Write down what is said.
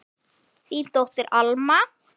Þín dóttir, Alma.